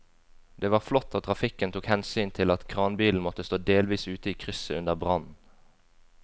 Det var flott at trafikken tok hensyn til at kranbilen måtte stå delvis ute i krysset under brannen.